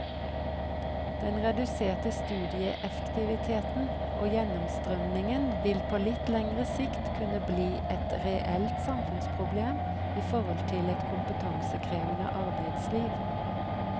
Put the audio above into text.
Den reduserte studieeffektiviteten og gjennomstrømningen vil på litt lengre sikt kunne bli et reelt samfunnsproblem i forhold til et kompetansekrevende arbeidsliv.